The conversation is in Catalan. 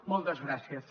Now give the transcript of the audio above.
moltes gràcies